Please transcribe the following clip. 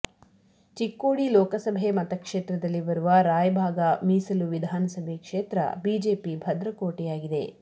ಚಿಕ್ಕೋಡಿ ಲೋಕಸಭೆ ಮತಕ್ಷೇತ್ರದಲ್ಲಿ ಬರುವ ರಾಯಬಾಗ ಮೀಸಲು ವಿಧಾನಸಭೆ ಕ್ಷೇತ್ರ ಬಿಜೆಪಿ ಭದ್ರಕೋಟೆಯಾಗಿದೆ